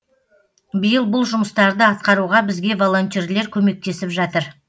биыл бұл жұмыстарды атқаруға бізге волонтерлер көмектесіп жатыр